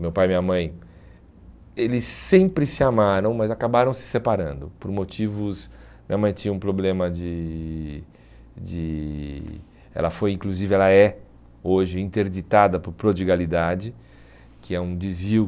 Meu pai e minha mãe, eles sempre se amaram, mas acabaram se separando por motivos... Minha mãe tinha um problema de de... Ela foi, inclusive, ela é hoje interditada por prodigalidade, que é um desvio.